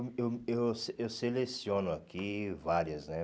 Eu eu eu se eu seleciono aqui várias, né?